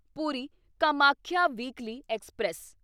Puri Kamakhya weekly express